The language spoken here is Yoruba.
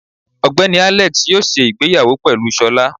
Ogbeni Alex yóò se ìgbéyàwó pelú sọla